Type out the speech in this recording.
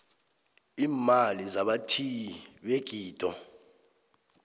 iimali zabathiyi begido